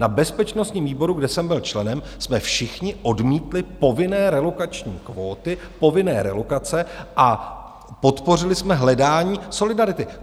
Na bezpečnostním výboru, kde jsem byl členem, jsme všichni odmítli povinné relokační kvóty, povinné relokace, a podpořili jsme hledání solidarity.